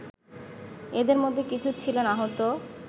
এদের মধ্যে কিছু ছিলেন আহত